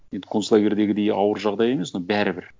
енді концлагерьдегідей ауыр жағдай емес но бәрібір